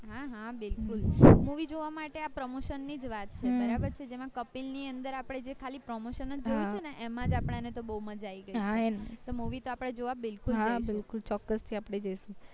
હા હા બિલકુલ movie જોવા માટે આ promotion નીં જ એમાં કપિલ ની અંદર જે આપડે ખાલી promotion જ જોઈએ જોયું હતું ને એમાં જ આપન્ના ને તો બૌ મજા આવી ગય હતી તો movie તો આપડે જોવા બિલકુલ જઈશ